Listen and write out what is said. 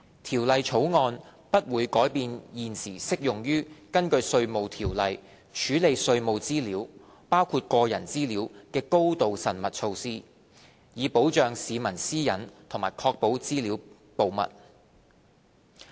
《條例草案》不會改變現時適用於根據《稅務條例》處理稅務資料的高度縝密措施，以保障市民私隱和確保資料保密。